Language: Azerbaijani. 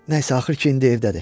Nəysə, axır ki indi evdədir.